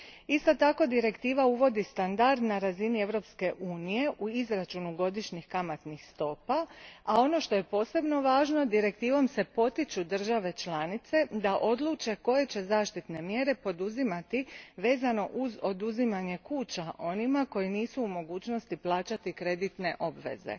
Isto tako, Direktiva uvodi standard na razini Europske unije u izračunu godišnjih kamatnih stopa, a ono što je posebno važno je da se Direktivom potiču države članice da odluče koje će zaštitne mjere poduzimati u vezi s oduzimanjem kuća onima koji nisu u mogućnosti plaćati kreditne obveze.